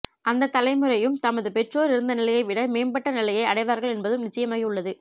அந்த தலைமுறையும் தமது பெற்றொர் இருந்தநிலையை விட மேம்பட்டநிலையை அடைவார்கள் என்பதும் நிச்சயமாகியுள்ளது